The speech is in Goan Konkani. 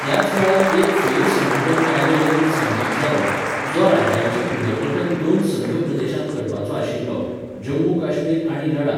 त्याच वेळार एक फेरसंघठन कायदो लेगीत संमत जालो, जो राज्याचें पुनर्गठन दोन संघप्रदेशांत करपाचो आशिल्लो, जम्मू काश्मीर आनी लडाख.